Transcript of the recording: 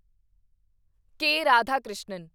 ਕੇ. Radhakrishnan